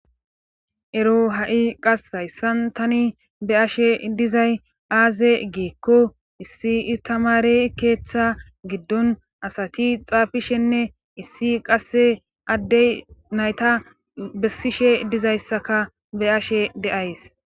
Ero ha7i qass hayssan tani be ashe dizay aaze geekko issi itamare keeththa giddon asati xaafishenne issi qasse addey nayta bessishe dizayssaka be ashe deays.